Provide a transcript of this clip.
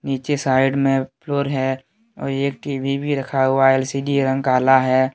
नीचे साइड में फ्लोर है और एक टी_वी भी रखा हुआ एल_सी_डी रंग काला है।